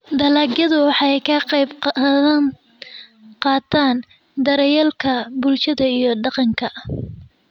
Dalagyadu waxay ka qayb qaataan daryeelka bulshada iyo dhaqanka.